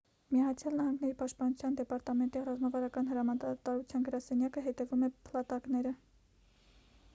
միացյան նահանգների պաշտպանության դեպարտամենտի ռազմավարական հրամանատարության գրասենյակը հետևում է փլատակները